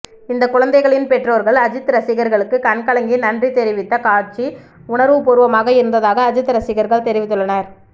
இந்த குழந்தைகளின் பெற்றோர்கள் அஜித் ரசிகர்களுக்கு கண்கலங்கி நன்றி தெரிவித்த காட்சி உணர்வுபூர்வமாக இருந்ததாக அஜித் ரசிகர்கள் தெரிவித்துள்ளனர்